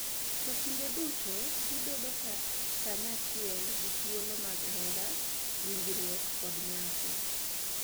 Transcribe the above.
To kinde duto gibedo kanyachiel gi thuolo mag hera, winjruok, kod nyasi.